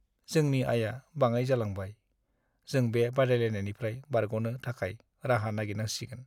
जोंनि आयआ बाङाइ जालांबाय। जों बे बादायनायनिफ्राय बारग'नो थाखाय राहा नायगिरनांसिगोन।